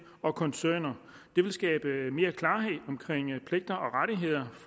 og koncerner det vil skabe mere klarhed omkring pligter